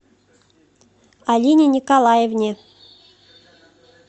алине николаевне